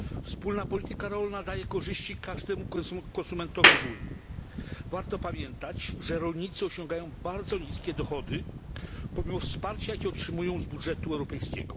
Wspólna polityka rolna daje korzyści każdemu konsumentowi w Unii. Warto pamiętać, że rolnicy osiągają bardzo niskie dochody, pomimo wsparcia, jakie otrzymują z budżetu europejskiego.